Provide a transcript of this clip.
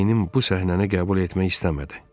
Beynim bu səhnəni qəbul etmək istəmədi.